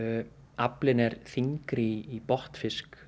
aflinn er þyngri í botnfisk